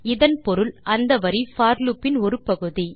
இதன் பொருள் அந்த வரி போர் லூப் இன் ஒரு பகுதி